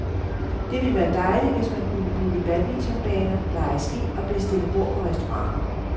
Det ville være dejligt, hvis man kunne booke badmintonbaner, leje ski og bestille bord på restauranter.